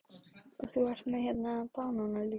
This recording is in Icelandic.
Erla Hlynsdóttir: Og þú ert með hérna banana líka?